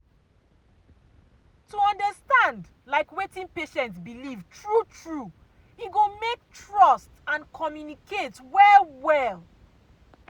to understand like wetin patient believe true true e go make trust and communicate well well.